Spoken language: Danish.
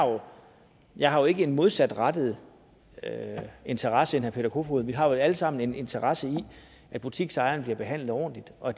jeg har jo ikke en modsatrettet interesse i herre peter kofod vi har vel alle sammen en interesse i at butiksejere bliver behandlet ordentligt og